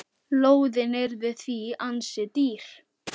Lóðin yrði því ansi dýr.